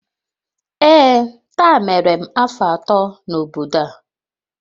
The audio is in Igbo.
Ee, taa mere m afọ atọ n'obodo a